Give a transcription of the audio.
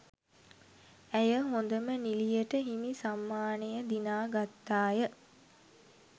ඇය හොඳම නිළියට හිමි සම්මානය දිනා ගත්තාය